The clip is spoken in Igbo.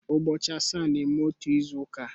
Ụbọchị asaa na-eme otu izu uka